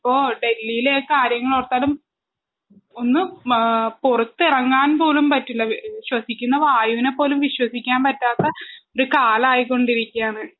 ഇപ്പൊ ഡെൽഹീലെ കാര്യങ്ങളോർത്താലും ഒന്ന് ഏ പുറത്തെറങ്ങാൻ പോലും പറ്റില്ല ശ്വസിക്കുന്ന വായുവിനെ പോലും വിശ്വസിക്കാൻ പറ്റാത്ത ഒരു കാലായിക്കൊണ്ടിരിക്കാണ്